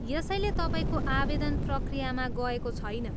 यसैले तपाईँको आवेदन प्रक्रियामा गएको छैन।